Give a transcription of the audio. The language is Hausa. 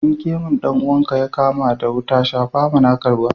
In gemun dan uwanka ya kama wuta shafawa na ka ruwa.